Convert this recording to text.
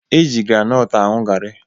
E ji granọt aṅụ garị